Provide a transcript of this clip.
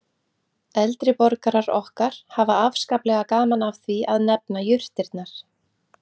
Eldri borgarar okkar hafa afskaplega gaman af því að nefna jurtirnar